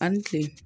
Ani kile